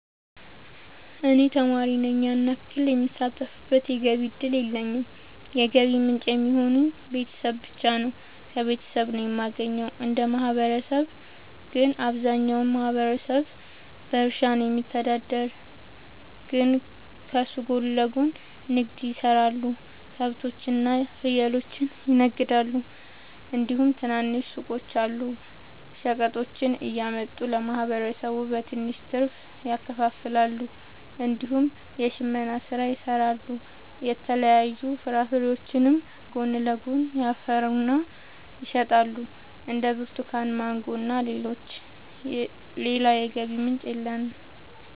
እኔ ተማሪ ነኝ ያን ያክል የምሳተፍበት የገቢ እድል የለኝም የገቢ ምንጭ የሚሆኑኝ ቤተሰብ ብቻ ነው። ከቤተሰብ ነው የማገኘው። እንደ ማህበረሰብ ግን አብዛኛው ማህበረሰብ በእርሻ ነው የሚተዳደር ግን ከሱ ጎን ለጎን ንግድ የሰራሉ ከብቶች እና ፍየሎችን ይነግዳሉ እንዲሁም ትናንሽ ሱቆች አሉ። ሸቀጦችን እያመጡ ለማህበረሰቡ በትንሽ ትርፍ ያከፋፍላሉ። እንዲሁም የሽመና ስራ ይሰራሉ የተለያዩ ፍራፍሬዎችንም ጎን ለጎን ያፈሩና ይሸጣሉ እንደ ብርቱካን ማንጎ እና ሌሎችም። ሌላ የገቢ ምንጭ የለም።